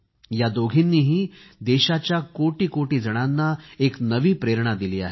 या दोघींनीही देशाच्या कोटी कोटी जणांना एक नवी प्रेरणा दिली आहे